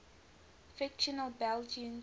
fictional belgians